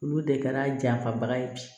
Olu de kɛra janfabaga ye bi